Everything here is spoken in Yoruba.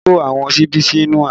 Olu ko àwọn síbí sí inú abọ́